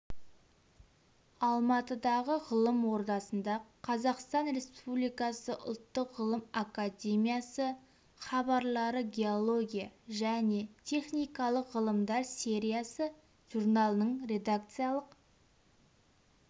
алматыдағы ғылым ордасында қазақстан республикасы ұлттық ғылым академиясы хабарлары геология және техникалық ғылымдар сериясы журналының редакциялық